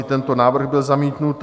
I tento návrh byl zamítnut.